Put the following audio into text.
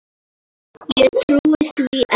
Ég trúi því ekki!